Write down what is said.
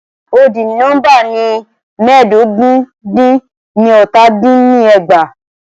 Odi nóḿbà ni mẹ́ẹ̀dógún dín ní ọ́tà dín ní ẹgbàá.